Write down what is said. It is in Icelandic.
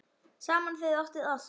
Saman þið áttuð allt.